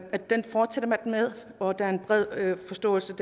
med og at der er en bred forståelse